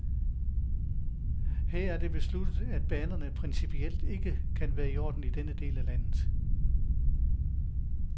Her er det besluttet, at banerne principielt ikke kan være i orden i denne del af landet.